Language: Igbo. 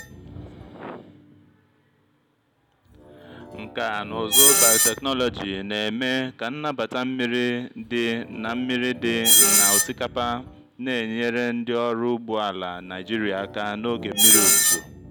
nkà na ụzụ bayotechnology na-eme ka nnabata mmiri dị na mmiri dị na osikapa na-enyere ndị ọrụ ugbo ala naigeria aka n'oge mmiri ozuzo.